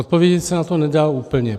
Odpovědět se na to nedá úplně.